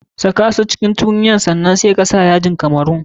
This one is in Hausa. Saka su a cikin tukunya sannan sai ka sa yajin kamerun.